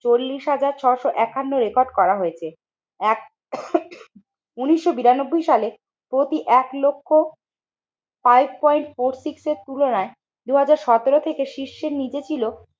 চল্লিশ হাজার ছশো একান্ন রেকর্ড করা হয়েছে। এক উন্নিশশো বিরানব্বই সালে প্রতি এক লক্ষ ফাইভ পয়েন্ট ফোর সিক্স এর তুলনায় দুই হাজার সতেরো থেকে শীর্ষের নিচে ছিল